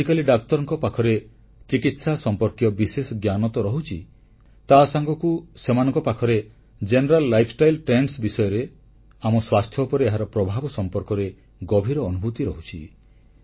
ଆଜିକାଲି ଡାକ୍ତରଙ୍କ ପାଖରେ ଚିକିତ୍ସା ସମ୍ପର୍କୀୟ ବିଶେଷ ଜ୍ଞାନ ତ ରହୁଛି ତା ସାଙ୍ଗକୁ ସେମାନଙ୍କ ପାଖରେ ଶରଦ୍ଭରକ୍ସବକ୍ଷ କ୍ଷସଲର ଗ୍ଦଗ୍ଧଚ୍ଚକ୍ଷର ଗ୍ଧକ୍ସରଦ୍ଭୟଗ୍ଦ ବିଷୟରେ ଆମ ସ୍ୱାସ୍ଥ୍ୟ ଉପରେ ଏହାର ପ୍ରଭାବ ସମ୍ପର୍କରେ ଗଭୀର ଅନୁଭୂତି ରହୁଛି